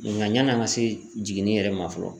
Nga yanni an ka se jiginni yɛrɛ ma fɔlɔ.